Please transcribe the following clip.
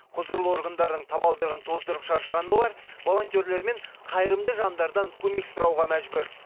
құзырлы органдардың табалдырығын тоздырып шаршаған олар волонтерлер мен қайырымды жандардан көмек сұрауға мәжбүр